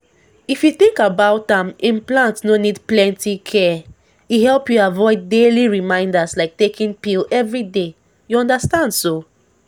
if you think about am implant no need plenty care — e help you avoid daily reminders like taking pill every day you understand so?